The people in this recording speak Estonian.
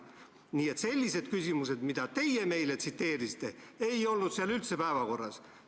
Nii et sellised küsimused, mida teie meile tsiteerisite, ei olnud seal üldse päevakorras.